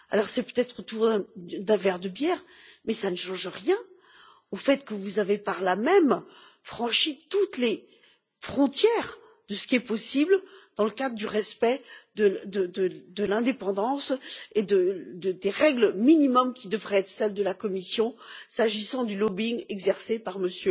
Alors c'est peut être autour d'un verre de bière, mais cela ne change rien au fait que vous avez par là même franchi toutes les frontières de ce qui est possible dans le cadre du respect, de l'indépendance et des règles minimum qui devraient être celles de la Commission, s'agissant du lobbying exercé par M.